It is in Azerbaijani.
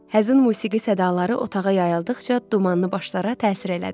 Həzin musiqi sədaları otağa yayıldıqca dumanlı başlara təsir elədi.